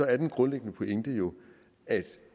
er den grundlæggende pointe at